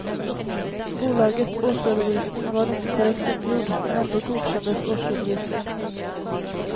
Bolagets årsredovisning var inte korrekt uppgjord, men ändå godkändes årsredovisningen.